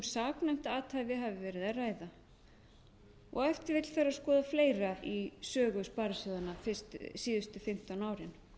saknæmt athæfi hafi tveir að ræða og ef til vill þarf að skoða fleira í sögu sparisjóðanna síðustu fimmtán árin